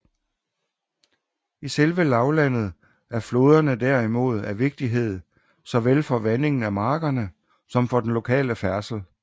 I selve lavlandet er floderne der imod af vigtighed såvel for vandingen af markerne som for den lokale færdsel